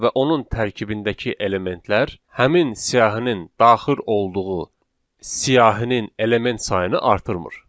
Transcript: və onun tərkibindəki elementlər həmin siyahinin daxil olduğu siyahinin element sayını artırmır.